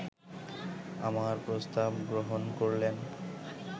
আমার প্রস্তাব গ্রহণ করলেন